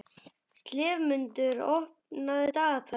slefmundur, opnaðu dagatalið mitt.